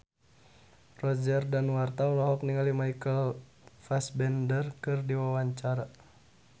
Roger Danuarta olohok ningali Michael Fassbender keur diwawancara